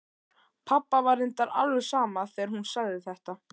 Pabba var reyndar alveg sama þegar hún sagði þetta.